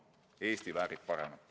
Eesti väärib paremat.